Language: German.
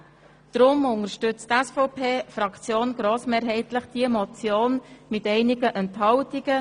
Deshalb unterstützt die SVP-Fraktion diese Motion grossmehrheitlich bei einigen Enthaltungen;